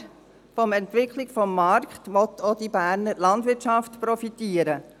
Aber von der Entwicklung des Marktes will auch die Berner Landwirtschaft profitieren.